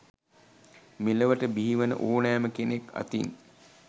මෙලොවට බිහිවන ඕනෑම කෙනෙක් අතින්